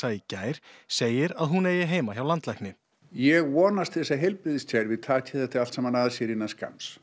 í gær segir að hún eigi heima hjá landlækni ég vonast til þess að heilbrigðiskerfið takið þetta allt saman að sér innan skamms